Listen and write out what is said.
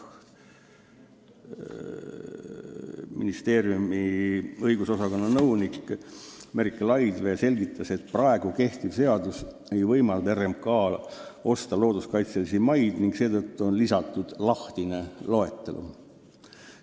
Ministeeriumi õigusosakonna nõunik Merike Laidvee selgitas, et praegu kehtiv seadus ei võimalda RMK-l looduskaitselisi maid osta ning seetõttu on lisatud lahtine loetelu.